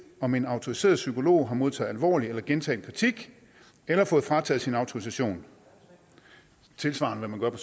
om en autoriseret psykolog har modtaget alvorlig eller gentagen kritik eller fået frataget sin autorisation tilsvarende hvad man gør